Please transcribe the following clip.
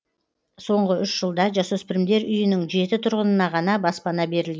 соңғы үш жылда жасөспірімдер үйінің жеті тұрғынына ғана баспана берілген